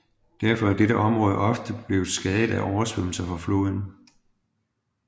Derfor er dette område ofte blevet skadet af oversvømmelser fra floden